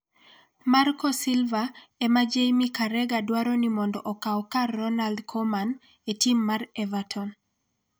Marco Silva ema Jamie Carragher dwaro ni mondo okaw kar Ronald Koeman e tim mar Everton